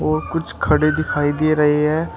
और कुछ खड़े दिखाई दे रही है।